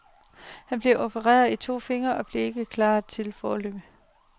Han er blevet opereret i to fingre og bliver ikke klar foreløbig.